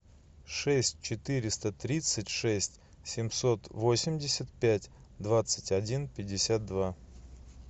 шесть четыреста тридцать шесть семьсот восемьдесят пять двадцать один пятьдесят два